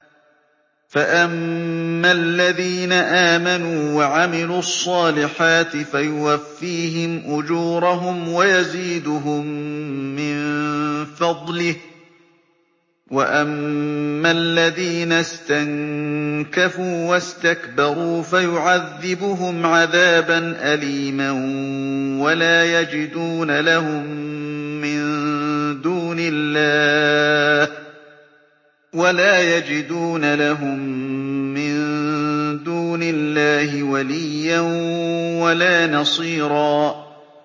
فَأَمَّا الَّذِينَ آمَنُوا وَعَمِلُوا الصَّالِحَاتِ فَيُوَفِّيهِمْ أُجُورَهُمْ وَيَزِيدُهُم مِّن فَضْلِهِ ۖ وَأَمَّا الَّذِينَ اسْتَنكَفُوا وَاسْتَكْبَرُوا فَيُعَذِّبُهُمْ عَذَابًا أَلِيمًا وَلَا يَجِدُونَ لَهُم مِّن دُونِ اللَّهِ وَلِيًّا وَلَا نَصِيرًا